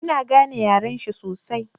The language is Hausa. Ina gane yaren shi sosai.